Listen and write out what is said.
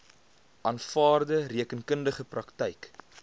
aanvaarde rekeningkundige praktyk